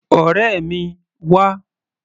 Ọ̀rẹ́ mi, wá!